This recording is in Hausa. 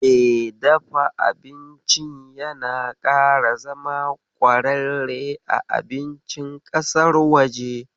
Me dafa abincin yana ƙara zama ƙwararre a abincin ƙasar waje.